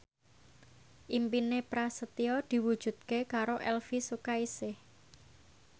impine Prasetyo diwujudke karo Elvi Sukaesih